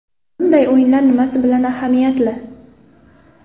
Bunday o‘yinlar nimasi bilan ahamiyatli?